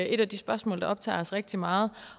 et af de spørgsmål der optager os rigtig meget